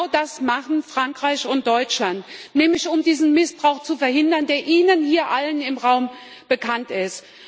Genau das machen Frankreich und Deutschland, nämlich um diesen Missbrauch zu verhindern, der Ihnen allen hier im Raum bekannt ist.